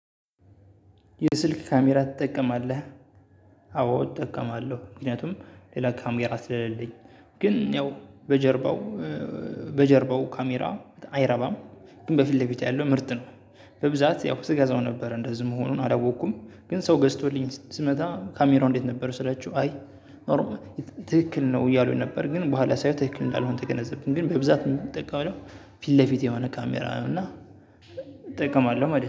የስልክ ካሜራ ትጠቀማለህ? አዎ እጠቀማለሁ ምክንያቱም ሌላ ካሜራ ስለሌለኝ ግን ያው በጀርባው በጀርባው ካሜራ አይረባም ግን በፊት ለፊት ያለው ምርጥ ነው። በብዛት ያው ስገዛው ነበር እንደዚህ መሆኑን አላወኩም ግን ሰው ገዝቶልኝ ስመጣ ካሜራው እንዴት ነበር ስላችሁ? አይ ትክክል ነው እያሉኝ ነበር ግን በኋላ ሳየው ትክክል እንዳልሆን ተገነዘብኩ። ግን በብዛት ምጠቀመው ፊት ለፊት የሆነ ካሜራ ነው እና እጠቀማለሁ ማለት ነው።